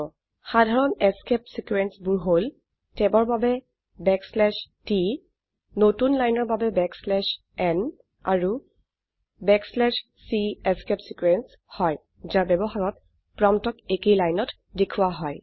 সাধাৰণ escape sequence বোৰ হল ট্যাব ৰ বাবে t নতুন লাইনৰ বাবে n আৰু c এস্কেপ ছিকোয়েন্স হয় যাৰ ব্যবহাৰত প্ৰম্পটক একেই লাইনত দেখোৱা হয়